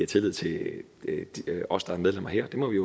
tillid til os der er medlemmer her det må vi